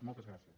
moltes gràcies